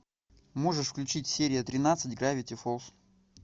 можешь включить серия тринадцать гравити фолз